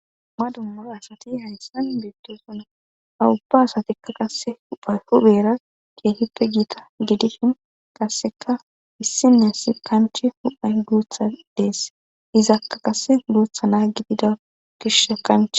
madummuro asati hayssan beettosuna awubba asatikka qase upha hubeera keetippe giita gidihin qasseka issinne si kanche huphay guutha dees izakka qasse guuthana gidida gish kanche